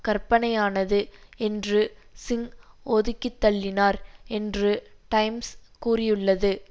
கற்பனையானது என்று சிங் ஒதுக்கித்தள்ளினார் என்று டைம்ஸ் கூறியுள்ளது